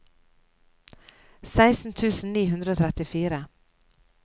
seksten tusen ni hundre og trettifire